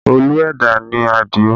Olú ẹ̀dá ni Adio